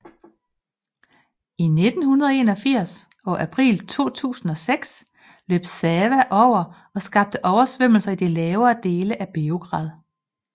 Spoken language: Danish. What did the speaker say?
I 1981 og april 2006 løb Sava over og skabte oversvømmelse i de lavere dele af Beograd